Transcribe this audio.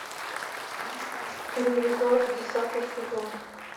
ревизор десятый сезон